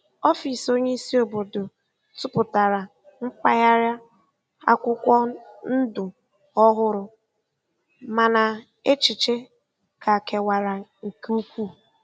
Ọfịs onye isi obodo tụpụtara mpaghara akwụkwọ ndụ ọhụrụ, mana echiche ka kewara nke ukwuu.